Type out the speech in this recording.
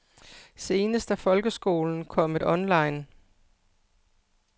Senest er folkeskolen kommet online.